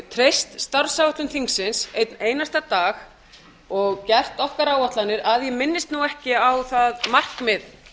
treyst starfsáætlun þingsins einn einasta dag og gert okkar áætlanir að ég minnist nú ekki á það markmið